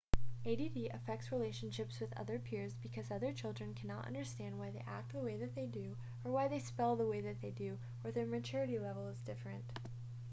add affects relationships with other peers because other children can not understand why they act the way that they do or why they spell they way they do or that their maturity level is different